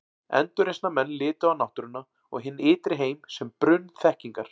Endurreisnarmenn litu á náttúruna og hinn ytri heim sem brunn þekkingar.